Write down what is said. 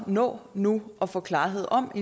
nå nu at få klarhed om